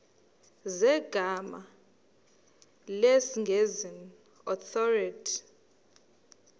zegama lesngesn authorit